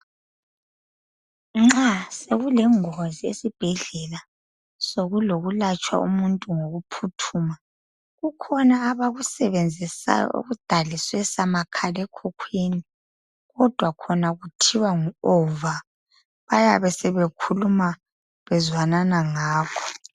Nxa sekulengozi esibhedlela sokulapha umuntu ngokuphuthuma kukhona abakusebenzisayo okudalwe samakhala ekhukhwini kodwa khona kuthiwa ngu ova bayabe sebekhuluma bezwanana ngakho